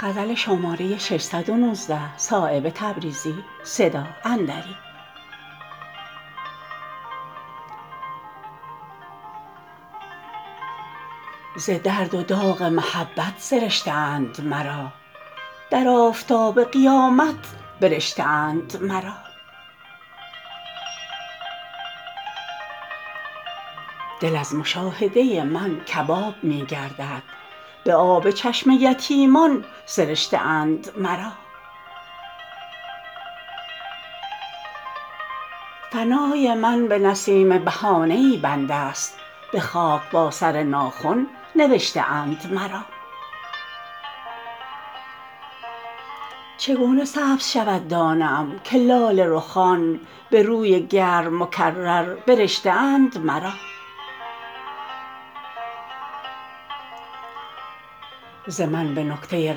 ز درد و داغ محبت سرشته اند مرا در آفتاب قیامت برشته اند مرا دل از مشاهده من کباب می گردد به آب چشم یتیمان سرشته اند مرا فنای من به نسیم بهانه ای بندست به خاک با سر ناخن نوشته اند مرا چگونه سبز شود دانه ام که لاله رخان به روی گرم مکرر برشته اند مرا ز من به نکته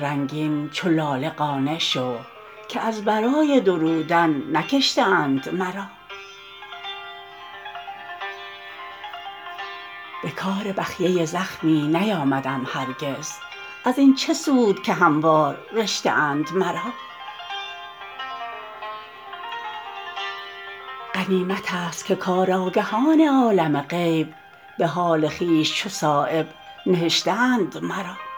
رنگین چو لاله قانع شو که از برای درودن نکشته اند مرا به کار بخیه زخمی نیامدم هرگز ازین چه سود که هموار رشته اند مرا غنیمت است که کارآگهان عالم غیب به حال خویش چو صایب نهشته اند مرا